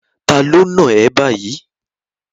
Ta ló náà ẹ báyìí?